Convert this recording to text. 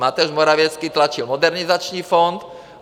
Mateusz Morawiecki tlačil Modernizační fond.